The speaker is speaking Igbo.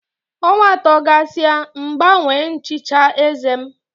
Ọnwa atọ gasịa M gbanwee nchicha eze m.